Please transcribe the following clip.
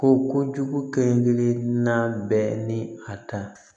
Ko kojugu kelen-kelenna bɛɛ ni a ta